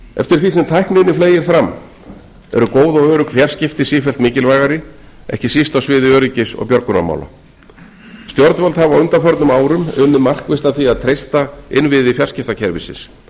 eftir því sem tækninni fleygir fram eru góð og trygg fjarskipti sífellt mikilvægari ekki síst á sviði öryggis og björgunarmála stjórnvöld hafa á undanförnum árum unnið markvisst að því að treysta innviði fjarskiptakerfisins